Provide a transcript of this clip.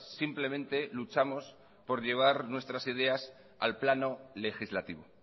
simplemente luchamos por llevar nuestras ideas al plano legislativo